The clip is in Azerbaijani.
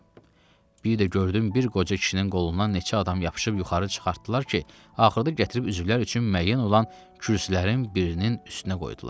Bir də gördüm bir qoca kişinin qolundan neçə adam yapışıb yuxarı çıxartdılar ki, axırda gətirib üzvlər üçün müəyyən olan kürsülərin birinin üstünə qoydular.